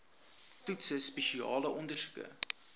toetse spesiale ondersoeke